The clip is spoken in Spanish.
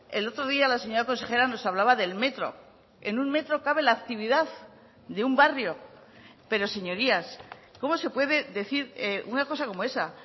el otro día la señora consejera nos hablaba del metro en un metro cabe la actividad de un barrio pero señorías cómo se puede decir una cosa como esa